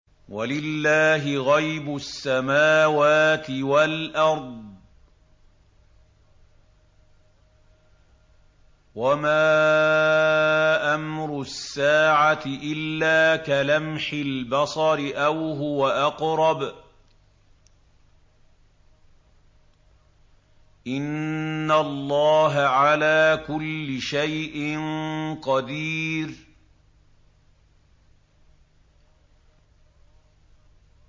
وَلِلَّهِ غَيْبُ السَّمَاوَاتِ وَالْأَرْضِ ۚ وَمَا أَمْرُ السَّاعَةِ إِلَّا كَلَمْحِ الْبَصَرِ أَوْ هُوَ أَقْرَبُ ۚ إِنَّ اللَّهَ عَلَىٰ كُلِّ شَيْءٍ قَدِيرٌ